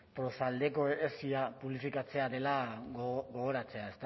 proaldeko publifikatzea dela gogoratzea